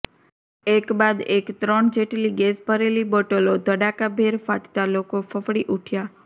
એક બાદ એક ત્રણ જેટલી ગેસ ભરેલી બોટલો ધડાકાભેર ફાટતા લોકો ફફડી ઉઠ્યાં